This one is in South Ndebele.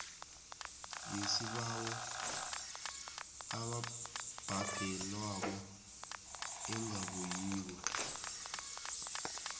yesibawo ebhadelwako engabuyiko